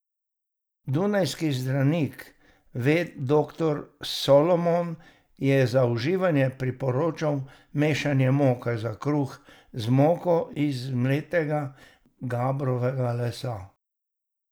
Dunajski zdravnik doktor Salomon je za uživanje priporočal mešanje moke za kruh z moko iz zmletega gabrovega lesa.